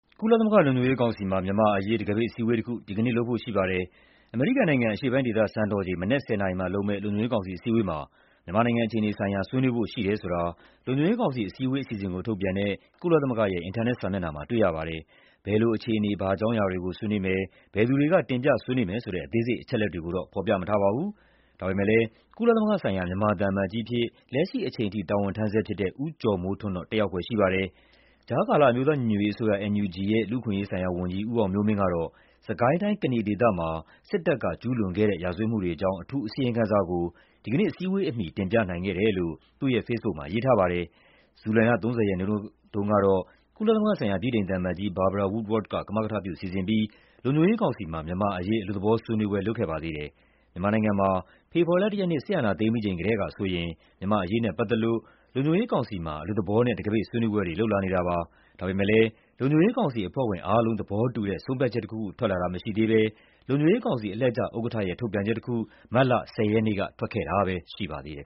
ကုလသမဂ္ဂ လုံခြုံရေးကောင်စီမှာ မြန်မာ့အရေး တံခါးပိတ်အစည်းအဝေးတခု ဒီကနေ့လုပ်ဖို့ ရှိပါတယ်။ အမေရိကန်နိုင်ငံ၊ အရှေ့ပိုင်းဒေသစံတော်ချိန် မနက် ၁၀ နာရီမှာလုပ်မယ့် လုံခြုံရေးကောင်စီ အစည်းအဝေးမှာ မြန်မာနိုင်ငံအခြေအနေဆိုင်ရာ ဆွေးနွေးဖို့ရှိတယ်ဆိုတာ လုံခြုံရေးကောင်စီ အစည်းအဝေးအစီအစဉ်ကို ထုတ်ပြန်တဲ့ ကုလသမဂ္ဂ အင်တာနက်စာမျက်နှာမှာ တွေ့ရပါတယ်။ ဘယ်လိုအခြေအနေ ဘာအကြောင်းအရာတွေကို ဆွေးနွေးမယ်၊ ဘယ်သူတွေက တင်ပြ ဆွေးနွေးမယ်ဆိုတဲ့ အသေးစိတ်အချက်အလက်တွေကိုတော့ ဖော်ပြမထားပါဘူး။ ဒါပေမယ့်လည်း ကုလသမဂ္ဂဆိုင်ရာ မြန်မာသံအမတ်ကြီးအဖြစ် လက်ရှိအချိန်ထိ တာဝန်ထမ်းဆဲဖြစ်တဲ့ ဦးကျော်မိုးထွန်းတော့ တက်ရောက်ဖွယ်ရှိပါတယ်။ ကြားကာလ အမျိုးသားညီညွတ်ရေးအစိုးရ (NUG) ရဲ့ လူ့အခွင့်အရေးဆိုင်ရာဝန်ကြီး ဦးအောင်မျိုးမင်းကတော့ စစ်ကိုင်းတိုင်း၊ ကနီဒေသမှာ စစ်တပ်က ကျူးလွန်ခဲ့တဲ့ ရာဇဝတ်မှုတွေအကြောင်း အထူးအစီရင်ခံစာကို ဒီကနေ့အစည်းအဝေးအမီ တင်ပြနိုင်ခဲ့တယ်လို့ သူရဲ့ဖေ့စ်ဘုတ်မှာ ရေးထားပါတယ်။ ဇူလိုင်လ ၃၀ ရက်နေ့တုန်းကတော့ ကုလသမဂ္ဂဆိုင်ရာ ဗြိတိန်သံအမတ်ကြီး Barbara Woodward က ကမကထပြုစီစဉ်ပြီး လုံခြုံရေးကောင်စီမှာ မြန်မာ့အရေး အလွတ်သဘောဆွေးနွေးပွဲ လုပ်ခဲ့ပါသေးတယ်။ မြန်မာနိုင်ငံမှာ ဖေဖော်ဝါရီလ ၁ ရက်နေ့ စစ်အာဏာသိမ်းပြီးချိန်ကတည်းကဆိုရင် မြန်မာ့အရေးနဲ့ပတ်သက်လို့ လုံခြုံရေးကောင်စီမှာ အလွတ်သဘောနဲ့ တံခါးပိတ်ဆွေးနွေးပွဲတွေ လုပ်လာနေတာပါ။ ဒါပေမယ့်လည်း လုံခြုံရေးကောင်စီအဖွဲ့ဝင်အားလုံး သဘောတူတဲ့ ဆုံးဖြတ်ချက်တခုခု ထွက်လာတာမရှိသေးဘဲ လုံခြုံရေကောင်စီ အလှည့်ကျဥက္ကဋ္ဌရဲ့ ထုတ်ပြန်ချက်တခု မတ်လ ၁၀ ရက်နေ့က ထွက်ခဲ့တာပဲရှိပါသေးတယ်